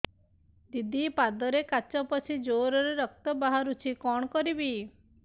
ଦିଦି ପାଦରେ କାଚ ପଶି ଜୋରରେ ରକ୍ତ ବାହାରୁଛି କଣ କରିଵି